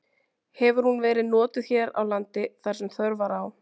Hefur hún verið notuð hér á landi þar sem þörf var á.